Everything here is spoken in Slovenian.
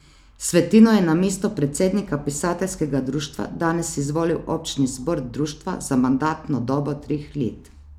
Svetino je na mesto predsednika pisateljskega društva danes izvolil občni zbor društva za mandatno dobo treh let.